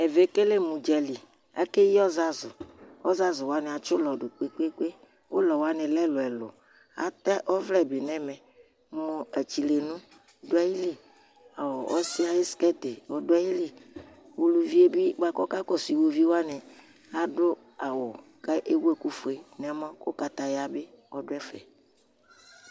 Ɛvɛ ekele mu ʋdzali Akeyi ɔzazu Ɔzazu waŋi atsi ʋlɔ ɖu kpe kpe Ʋlɔ waŋi lɛ ɛlu ɛlu Atɛ ɔvlɛ bi ŋu ɛmɛ Atsilɛnu ɔɖu aɣili Ɔsi ayʋ skirt ɔɖu aɣili Ʋlʋvie bi bʋakʋ ɔkakɔsu ʋlʋvi waŋi aɖu awu kʋ ewu ɛku fʋe ŋu ɛmɔ kʋ kataya bi ɔɖu ɛfɛ